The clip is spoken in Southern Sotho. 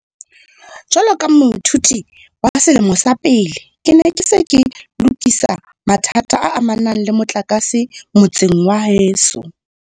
Jwalo ka moithuti wa selemo sa pele, ke ne ke se ke lokisa mathata a amanang le motlakase motseng wa heso.